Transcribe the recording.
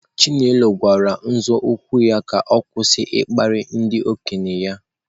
Chinelo gwara nzọụkwụ ya ka ọ kwụsị ịkparị ndị okenye ha.